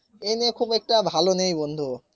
এই নিয়ে খুব একটা ভালো নেই বন্ধু